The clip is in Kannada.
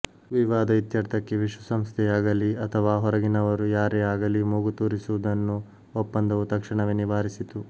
ವಿವಾದ ಇತ್ಯರ್ಥಕ್ಕೆ ವಿಶ್ವಸಂಸ್ಥೆಯಾಗಲೀ ಅಥವಾ ಹೊರಗಿನವರು ಯಾರೇ ಆಗಲಿ ಮೂಗುತೂರಿಸುವುದನ್ನು ಒಪ್ಪಂದವು ತಕ್ಷಣವೇ ನಿವಾರಿಸಿತು